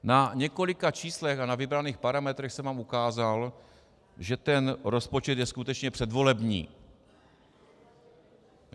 Na několika číslech a na vybraných parametrech jsem vám ukázal, že ten rozpočet je skutečně předvolební.